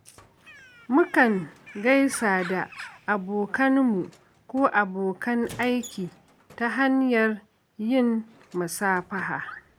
Mukan gaisa da abokanmu ko abokan aiki ta hanyar yin musafaha.